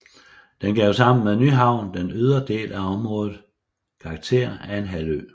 Den gav sammen med Nyhavn den ydre del af området karakter af en halvø